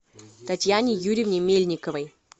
татьяне юрьевне мельниковой